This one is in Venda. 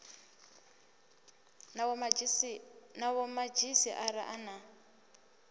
na vhomadzhisi ara a na